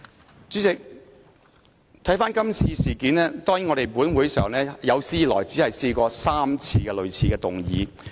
代理主席，看回今次事件，當然本會有史以來只提出過3次類似的議案。